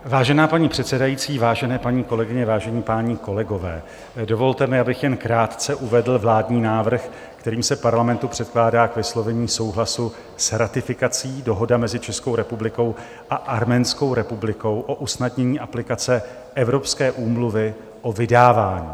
Vážená paní předsedající, vážené paní kolegyně, vážení páni kolegové, dovolte mi, abych jen krátce uvedl vládní návrh, kterým se Parlamentu předkládá k vyslovení souhlasu s ratifikací Dohoda mezi Českou republikou a Arménskou republikou o usnadnění aplikace Evropské úmluvy o vydávání.